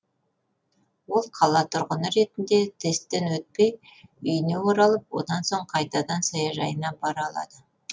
ол қала тұрғыны ретінде тесттен өтпей үйіне оралып одан соң қайтадан саяжайына бара алады